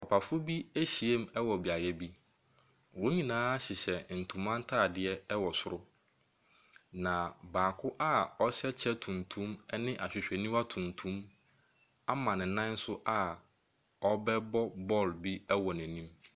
Papafoɔ bi ahyiam ɛwɔ beaeɛ bi, wɔn nyinaa ɛhyɛ ntoma ntaadeɛ ɛwɔ soro. Na baako a ɔhyɛ kyɛ tuntum ɛne ahwehwɛniwa tuntum ama ne nan so a ɔrebɛbɔ bɔɔlo bi ɛwɔ n’anim.